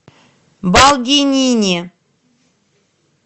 балдинини